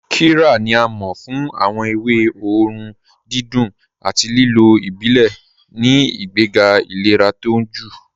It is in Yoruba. Qíryà ni à máọ̀ fún awọn èwé òórùn dídùn àti lílò ìbílẹ̀ ní ìgbègà ìlẹ̀rà tó ọ̀unjẹ.